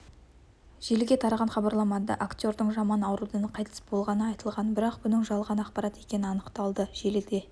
желіге тараған хабарламада актердің жаман аурудан қайтыс болғаны айтылған бірақ бұның жалған ақпарат екені анықталды желіге